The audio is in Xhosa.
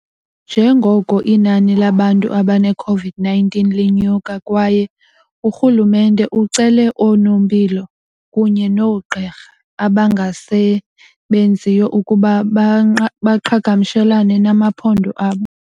Njengoko inani labantu abaneCOVID-19 linyuka kwaye urhulumente ucele oonompilo kunye noogqirha abangasebenziyo ukuba baqhagamshelane namaphondo abo.